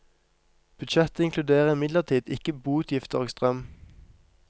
Budsjettet inkluderer imidlertid ikke boutgifter og strøm.